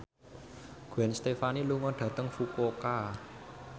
Gwen Stefani lunga dhateng Fukuoka